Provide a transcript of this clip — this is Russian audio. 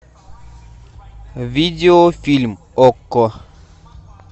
видео фильм окко